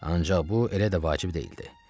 Ancaq bu elə də vacib deyildi.